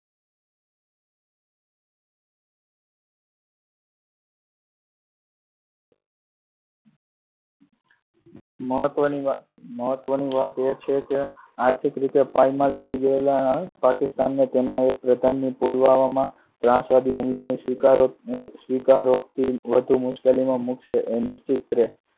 મહત્ત્વ, મહત્ત્વની વાત એ છે કે આર્થિક રીતે પાયમાલ થઇ ગયેલા પાકિસ્તાન ના સેનાના પ્રધાનની પુલવામામાં ત્રાસવાદી હુમલાનો સ્વીકારો તેને વધુ મુશ્કેલી માં મુકશે તે નિશ્ચિત છે.